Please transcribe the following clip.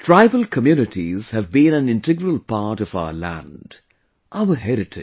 Tribal communities have been an integral part of our land, our heritage